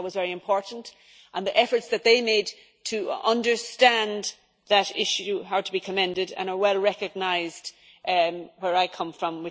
That was very important and the efforts that they made to understand that issue are to be commended and are well recognised where I come from